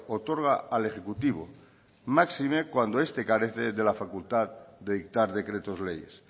otorga al ejecutivo máxime cuando este carece de la facultad de dictar decretos leyes